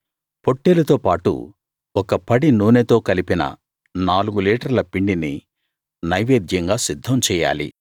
పొట్టేలుతో పాటు ఒక పడి నూనెతో కలిపిన నాలుగు లీటర్ల పిండిని నైవేద్యంగా సిద్ధం చెయ్యాలి